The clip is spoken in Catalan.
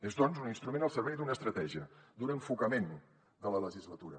és doncs un instrument al servei d’una estratègia d’un enfocament de la legislatura